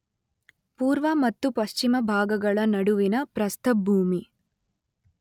ಪೂರ್ವ ಮತ್ತು ಪಶ್ಚಿಮ ಭಾಗಗಳ ನಡುವಿನ ಪ್ರಸ್ಥಭೂಮಿ